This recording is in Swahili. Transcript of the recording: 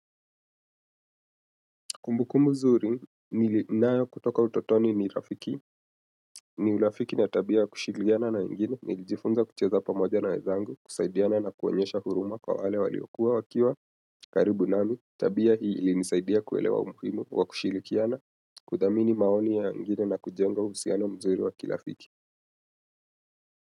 Kumbu kumbu nzuri, ninayo kutoka utotoni ni rafiki, ni urafiki na tabia kushirikiana na wengine, nikijifunza kucheza pamoja na wenzangu, kusaidiana na kuonyesha huruma kwa wale waliokuwa wakiwa, karibu nami, tabia hii ilinisaidia kuelewa umuhimu wa kushirikiana, kudhamini maoni ya wengine na kujenga uhusiano mzuri wa kirafiki.